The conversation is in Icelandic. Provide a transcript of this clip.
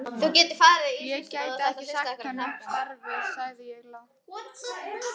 Ég get ekki sagt honum upp starfi sagði ég lágt.